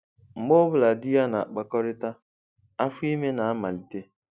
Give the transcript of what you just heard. Mgbe ọ bụla di ya na-akpakọrịta, afọ ime na-amalite.